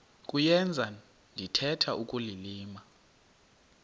kuyenza ndithetha ukulilima